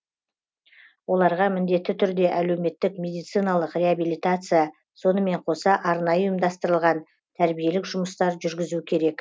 оларға міндетті түрде әлеуметтік медициналық реабилитация сонымен қоса арнайы ұйымдастырылған тәрбиелік жұмыстар жүргізу керек